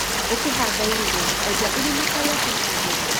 ũkĩhanda irigũ, enja irima ta rĩa biti igĩrĩ.